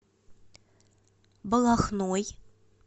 балахной